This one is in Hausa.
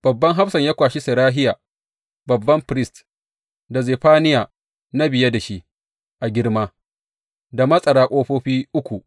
Babban hafsan ya kwashi Serahiya babban firist, da Zefaniya na biye da shi a girma, da matsara ƙofofi uku.